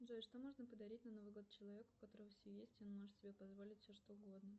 джой что можно подарить на новый год человеку у которого все есть и он может себе позволить все что угодно